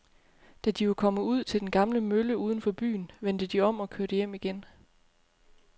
Da de var kommet ud til den gamle mølle uden for byen, vendte de om og kørte hjem igen.